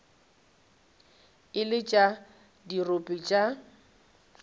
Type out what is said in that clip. e le tša dirope tša